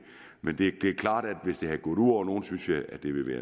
men det er klart at hvis det var gået ud over nogen